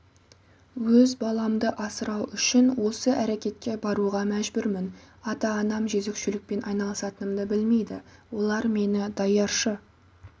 өз баламды асырау үшін осы әрекетке баруға мәжбүрмін ата-анам жөзекшелікпен айналысатынымды білмейді олар мені даяршы